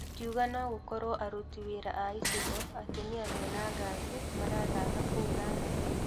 Akiuga no gũkorwo aruti wĩra a icigo atumia mena ngari marathaka kũu na anake.